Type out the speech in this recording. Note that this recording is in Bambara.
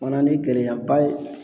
O fana ni gɛlɛyaba ye.